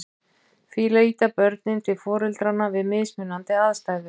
Því leita börnin til foreldranna við mismunandi aðstæður.